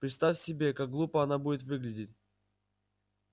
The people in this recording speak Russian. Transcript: представь себе как глупо он будет выглядеть